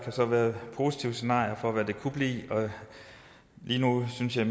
så være positive scenarier for hvad det kunne blive lige nu synes jeg